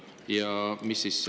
Ja mida siis …